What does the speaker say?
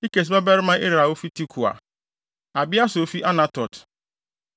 Ikes babarima Ira a ofi Tekoa; Abieser a ofi Anatot;